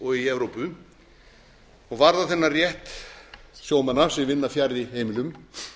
og í evrópu og varða þennan rétt sjómanna sem vinna fjarri heimilum